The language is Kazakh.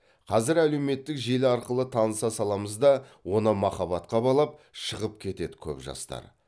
қазір әлеуметтік желі арқылы таныса саламыз да оны махаббатқа балап шығып кетеді көп жастар